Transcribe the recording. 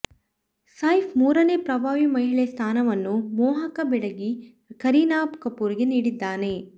ಸೈಫ್ ಮೂರನೇ ಪ್ರಭಾವಿ ಮಹಿಳೆ ಸ್ಥಾನವನ್ನು ಮೋಹಕ ಬೆಡಗಿ ಕರೀನಾ ಕಪೂರ್ಗೆ ನೀಡಿದ್ದಾನೆ